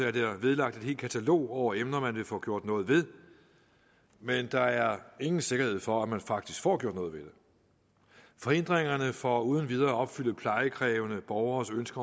er der vedlagt et helt katalog over emner man vil få gjort noget ved men der er ingen sikkerhed for at man faktisk får gjort noget ved det forhindringerne for uden videre at opfylde plejekrævende borgernes ønske